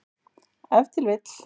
Ef til vill.